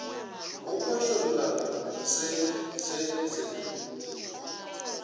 go phošolla se se se